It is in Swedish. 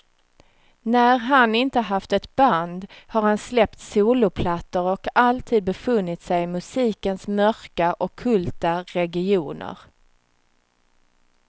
När han inte haft ett band har han släppt soloplattor och alltid befunnit sig i musikens mörka, ockulta regioner.